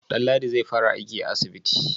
Danladi zai fara aiki a asibiti?